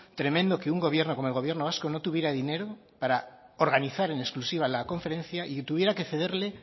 tremendo que un gobierno como el gobierno vasco no tuviera dinero para organizar en exclusiva la conferencia y que tuviera que cederle